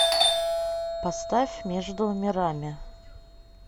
поставь между мирами